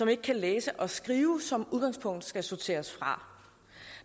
ikke kan læse og skrive som udgangspunkt skal sorteres fra